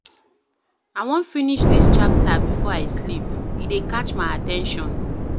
I wan finish dis chapter before I sleep, e dey catch my at ten tion.